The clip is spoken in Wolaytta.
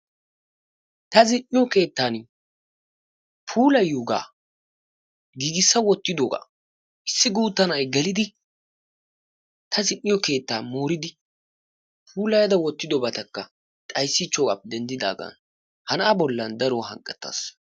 ta zin''iyo keettan puulayiyooga giigisa wottidooga issi na'ay gelide t zin''iyooga moridi puulaya wottidobata morichidoogaa be'ada ha na'aa bolli daruwa hanqqettas.